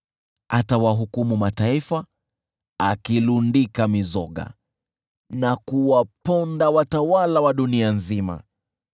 Atawahukumu mataifa, akilundika mizoga na kuwaponda watawala wa dunia nzima.